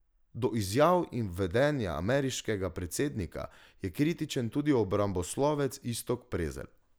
Do izjav in vedenja ameriškega predsednika je kritičen tudi obramboslovec Iztok Prezelj.